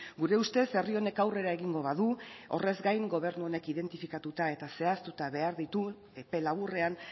gure ustez herri honek aurrera egingo badu horrez gain gobernu honek identifikatuta eta zehaztuta behar ditu epe laburrean